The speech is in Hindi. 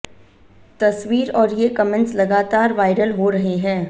तस्वीर और ये कमेंट्स लगातार वायरल हो रहे हैं